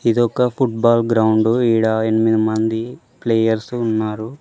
ఇది ఒక football ground ఈడ ఎనిమిది మంది ప్లేయర్సు ఉన్నారు.